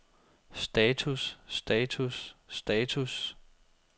status status status